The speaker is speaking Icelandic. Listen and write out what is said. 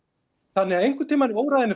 þannig að einhvern tímann í